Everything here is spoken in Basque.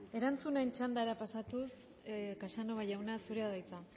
erantzunen txandara pasatuz casanova jauna zurea da hitza